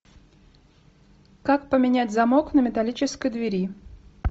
как поменять замок на металлической двери